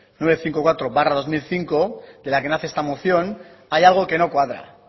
novecientos cincuenta y cuatro barra dos mil cinco de la que nace esta moción hay algo que no cuadra